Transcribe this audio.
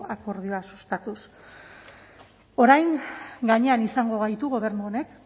akordioak sustatuz orain gainean izango gaitu gobernu honek